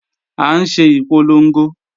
À ń ṣe ìpolongo